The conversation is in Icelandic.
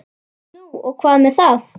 Nú og hvað með það?